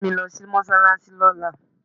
Mú mi lọ sí mọ́ṣáláṣí lọ́la.